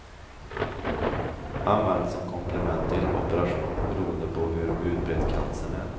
Används som komplement till operation beroende på hur utbredd cancern är.